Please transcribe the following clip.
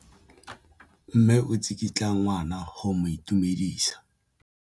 Mme o tsikitla ngwana go mo itumedisa.